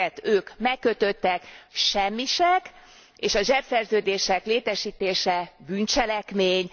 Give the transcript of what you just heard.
ők megkötöttek, semmisek, a zsebszerződések létesítése bűncselekmény.